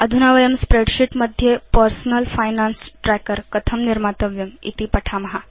अधुना वयं स्प्रेडशीट् मध्ये पर्सनल फाइनान्स ट्रैकर कथं निर्मातव्यमिति पठेम